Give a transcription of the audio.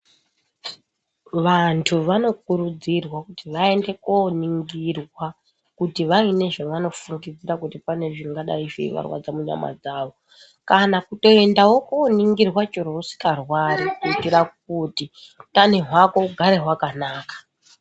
Vantu vanokurudzirwa kuti vaende koningirwa kuti vaine zvavanofundidzira kuti zvingadai zveivarwadza munyama dzavo. Kana kutoendavo koningirwa chero usikarwari kuitira kuti hutano hwako hugare hwakanaka.